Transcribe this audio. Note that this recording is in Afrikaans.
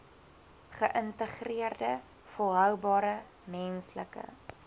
geïntegreerde volhoubare menslike